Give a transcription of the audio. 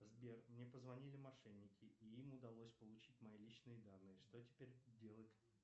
сбер мне позвонили мошенники и им удалось получить мои личные данные что теперь делать